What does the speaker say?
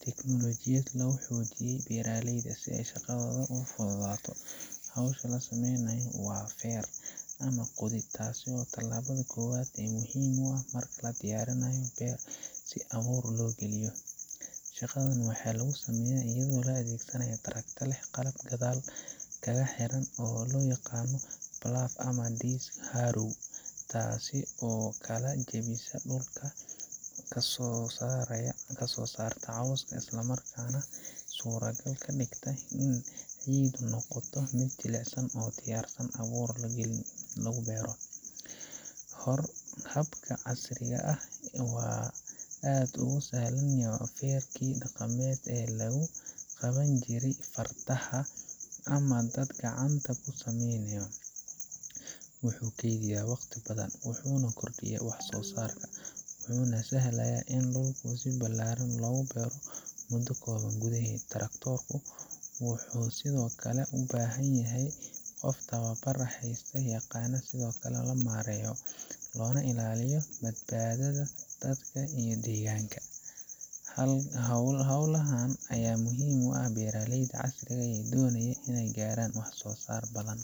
tignoolajiyad lagu xoojiyey beeraleyda si ay shaqadooda u fududaato. Hawsha la sameynayo waa feer ama qodid, taas oo ah talaabada koowaad ee muhiimka ah marka la diyaarinayo beer si abuur loo geliyo. Shaqadan waxaa lagu sameeyaa iyadoo la adeegsanayo tractor leh qalab gadaal kaga xiran oo loo yaqaan plough ama disc harrow, taas oo kala jebisa dhulka, ka saarta cawska, isla markaana suurtagal ka dhigta in ciiddu noqoto mid jilicsan oo u diyaarsan in abuur lagu beero. Habkan casriga ah waxa uu aad uga sahlan yahay feerkii dhaqameedka ee lagu qaban jiray fardaha ama dad gacanta ku sameeya. Wuxuu kaydiyaa waqti badan, wuxuu kordhiyaa wax-soo-saarka, wuxuuna sahlayaa in dhul ballaaran la beero muddo kooban gudaheed. tractor ku wuxuu sidoo kale u baahan yahay qof tababar haysta oo yaqaanna sida loo maareeyo, loona ilaaliyo badqabka dadka iyo deegaanka. Hawlahan ayaa muhiim u ah beeraleyda casriga ah ee doonaya inay gaaraan wax-soo-saar badan